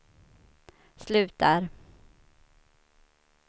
slutar